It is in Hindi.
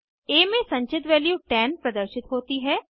आ में संचित वैल्यू 10 प्रदर्शित होती है